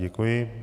Děkuji.